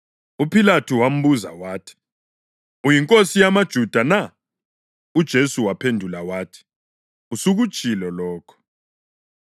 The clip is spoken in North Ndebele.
UPhilathu wambuza wathi, “Uyinkosi yamaJuda na?” UJesu waphendula wathi, “Usukutshilo lokho.”